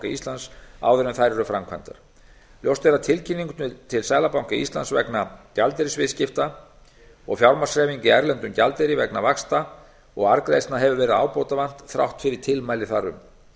íslands áður en þær eru framkvæmdar ljóst er að tilkynningar til seðlabanka íslands vegna gjaldeyrisviðskipta og fjármagnshreyfinga í erlendum gjaldeyri vegna vaxta og arðgreiðslna hefur verið ábótavant þrátt fyrir tilmæli þar um